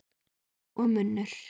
Og munnur